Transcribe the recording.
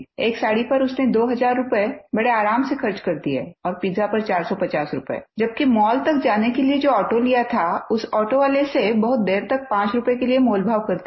एक साड़ी पर उसने दो हज़ार रूपये बड़े आराम से खर्च कर दिए और पीज़ा पर 450 रूपये जबकि मॉल तक जाने के लिए जो ऑटो लिया था उस ऑटो वाले से बहुत देर तक पाँच रूपये के लिए मोलभाव करती रही